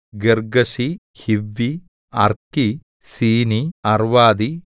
ഗിർഗ്ഗശി ഹിവ്വി അർക്കി സീനി അർവ്വാദി